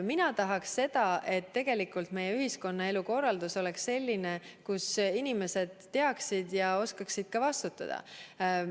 Mina tahaks seda, et meie ühiskonnaelu korraldus oleks selline, kus inimesed teaksid ja oskaksid ka vastutada.